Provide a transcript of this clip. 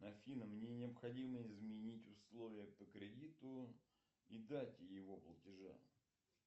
афина мне необходимо изменить условия по кредиту и дате его платежа